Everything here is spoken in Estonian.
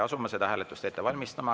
Asume seda hääletust ette valmistama.